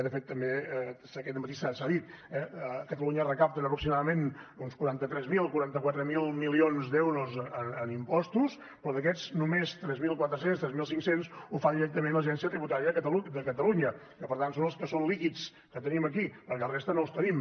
de fet també aquest dematí s’ha dit eh a catalunya es recapten aproximadament uns quaranta tres mil quaranta quatre mil milions d’euros en impostos però d’aquests només tres mil quatre cents tres mil cinc cents ho fa directament l’agència tributària de catalunya que per tant són els que són líquids que tenim aquí perquè la resta no els tenim